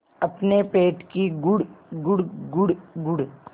अपने पेट की गुड़गुड़ गुड़गुड़